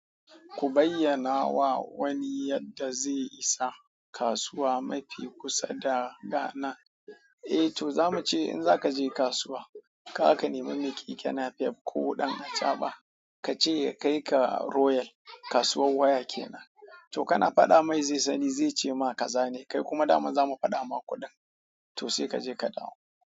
Ku bayyana wa wani yadda zai isa kasuwa mafi kusa da Ghana. Eh to za mu ce in za ka je kasuwa, ka ka nemi mai kike nafef ko ɗan acaɓa, ka ce ya kai ka Royal, kasuwar waya kenan. To kana faɗa mai zai sani zai ce ma ka zane kai kuma dama za mu faɗa ma kuɗin. To sai ka je ka dawo.